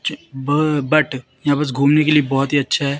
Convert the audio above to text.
च ब बट यहां पास घूमने के लिए बहोत ही अच्छा है।